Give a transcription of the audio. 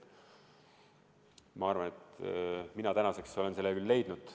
Ma arvan, et mina tänaseks olen selle leidnud.